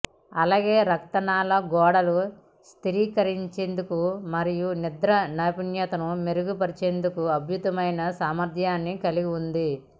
అలాగే రక్త నాళ గోడలు స్థిరీకరించేందుకు మరియు నిద్ర నాణ్యతను మెరుగుపరిచేందుకు అద్భుతమైన సామర్ధ్యాన్ని కలిగి ఉంది